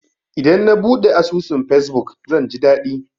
Idan na buɗe asusun fesbuk, zan ji daɗi.